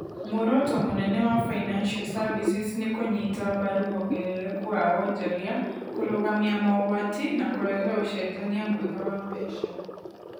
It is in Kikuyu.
Muoroto mũnene wa Financial Services nĩ kũnyita mbaru wongerereku wa wonjoria, kũrũgamia mogwati, na kũrehe ũcenjania mwega wa mbeca.